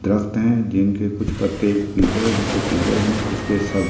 दरख्त हैजिनके कुछ पत्ते पीले हलके पीले है कुछ के सब--